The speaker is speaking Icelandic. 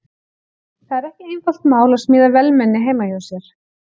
Það er ekki einfalt mál að smíða vélmenni heima hjá sér.